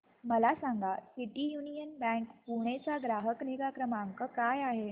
मला सांगा city union bank Pune चा ग्राहक निगा क्रमांक काय आहे